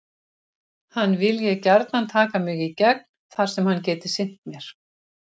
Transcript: Hann vilji gjarnan taka mig í gegn þar sem hann geti sinnt mér.